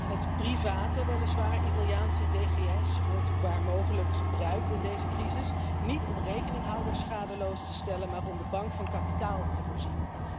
Het weliswaar private Italiaanse DGS wordt waar mogelijk gebruikt in deze crisis, niet om rekeninghouders schadeloos te stellen, maar om de bank van kapitaal te voorzien.